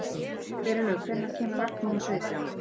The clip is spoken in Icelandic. Geirlaug, hvenær kemur vagn númer sautján?